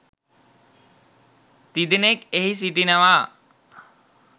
තිදෙනෙක් එහි සිටිනවා